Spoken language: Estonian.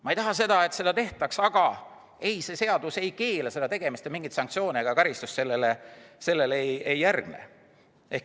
Ma ei taha, et seda tehtaks, aga see seadus ei keela seda tegemast ja mingeid sanktsioone ega karistust sellele ei järgne.